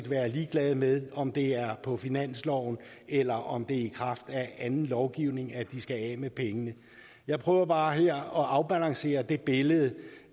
være ligeglade med om det er på finansloven eller om det er i kraft af anden lovgivning at de skal af med pengene jeg prøver bare her at afbalancere det billede